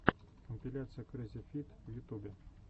компиляция крэззифид в ютубе